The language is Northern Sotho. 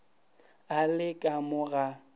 a le ka mo ga